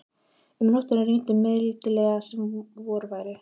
Um nóttina rigndi mildilega sem vor væri.